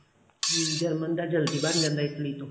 German ਦਾ ਜਲਦੀ ਬਣ ਜਾਂਦਾ Italy ਤੋਂ